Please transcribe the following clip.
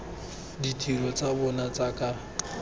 ditiro tsa bona tsa ka